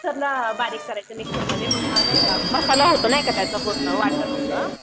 सगळं बारीक करायचं मिक्सरमध्ये मग नाही का मसाला हाय नाही का त्याचं वाटण होतं.